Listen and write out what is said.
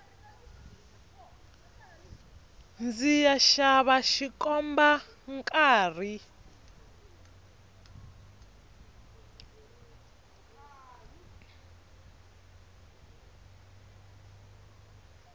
ndziya xava xikomba nkarhi